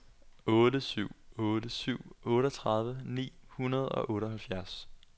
otte syv otte syv otteogtredive ni hundrede og otteoghalvfjerds